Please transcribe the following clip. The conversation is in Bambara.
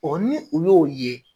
O ni u y'o ye.